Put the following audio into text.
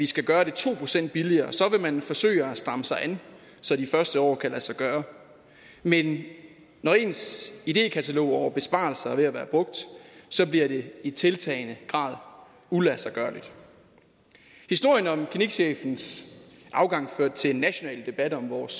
skal gøre det to procent billigere så vil mange forsøge at stramme sig an så de første år kan det lade sig gøre men når ens idekatalog over besparelser er ved at være brugt så bliver det i tiltagende grad uladsiggørligt historien om klinikchefens afgang førte til en national debat om vores